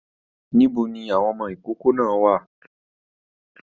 Níbo ní àwọn amọkókó náà wà?